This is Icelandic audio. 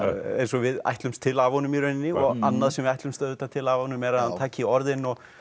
eins og við ætlumst til af honum í rauninni og annað sem við ætlumst auðvitað til af honum er að hann taki orðin og